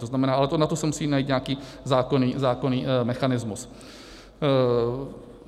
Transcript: To znamená, ale na to se musí najít nějaký zákonný mechanismus.